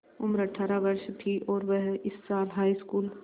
उम्र अठ्ठारह वर्ष थी और वह इस साल हाईस्कूल